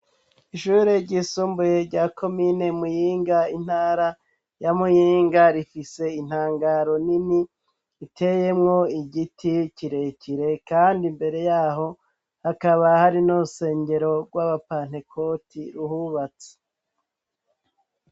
Ishure ryisumbuye rya Komine Muyinga, intara ya Muyinga rifise intangaro nini iteyemwo igiti kirekire, kandi mbere yaho hakaba hari n'urusengero rw'abapantekoti ruhubatse.